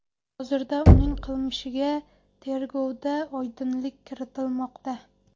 Hozirda uning qilmishiga tergovda oydinlik kiritilmoqda.